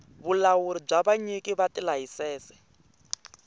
vulawuri bya vanyiki va tilayisense